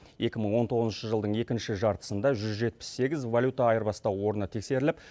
екі мың он тоғызыншы жылдың екінші жартысында жүз жетпіс сегіз валюта айырбастау орны тексеріліп